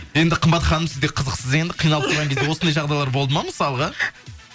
енді қымбат ханым сіз де қызықсыз енді қиналып тұрған кезде осындай жағдайлар болды ма мысалға